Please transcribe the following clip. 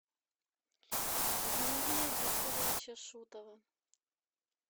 юрия викторовича шутова